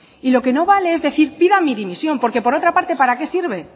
lo que no vale es decir pida mi dimisión porque por otra parte para qué sirve